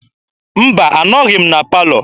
Mba, anọghị m na palọ.